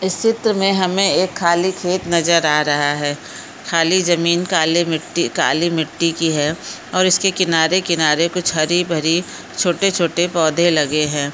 इस चित्र में हमे एक खाली खेत नजर आ रहा है खाली जमीन काली मिट्टी-काली मिट्टी की है और इसके किनारे किनारे कुछ हरी भरी छोटे-छोटे पौधे लगे है।